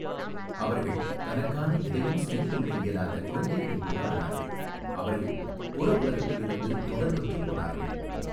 அவர்கள் தனக்கான எதையும் செய்துகொள்ள இயலாத குழந்தைகளைப் போல ஆனார்கள் அவர்கள் புறஉலகிலிருந்து தொடர்பற்றுப் போனார்கள்.